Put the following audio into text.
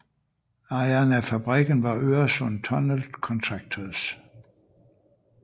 Ejeren af fabrikken var Øresund Tunnel Contractors